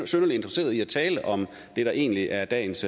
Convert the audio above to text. synderlig interesseret i at tale om det der egentlig er dagens